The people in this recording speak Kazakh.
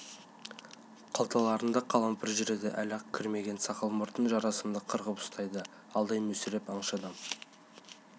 қалталарында қалампыр жүреді әлі ақ кірмеген сақал-мұртын жарасымды қырқып ұстайды алдай мүсіреп аңшы адам